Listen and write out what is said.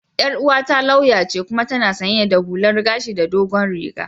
Yar uwata lauya ce kuma tana sanye da hullar gashi da dogon riga.